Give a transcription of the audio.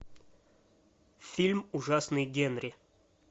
фильм ужасный генри